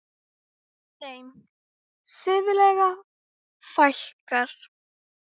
Þeim siðlegu fækkar.